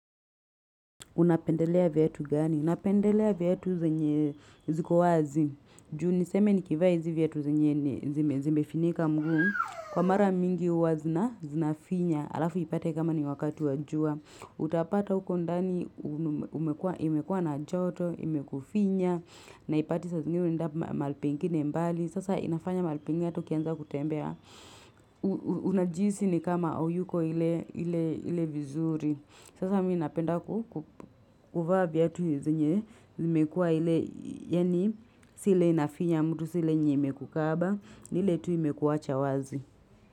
Unapendelea viatu gani? Napendelea viatu zenye ziko wazi. Ju niseme nikivaa hizi viatu zenye zimefinika mguu. Kwa mara mingi hua zina zina finya. Alafu ipate kama ni wakati wajua. Utapata huko ndani imekua na joto, imekufinya. Na ipate saa zingine unaenda mahali pengine mbali. Sasa inafanya mahali pengine hata ukianza kutembea. Unajihisi ni kama auyuko ile vizuri. Sasa mimi napenda ku kuvaa viatu zenye, zimekua ile, yani, si ile inafinya mtu si ile yenye imekukaba, ni ile tu imekuwacha wazi.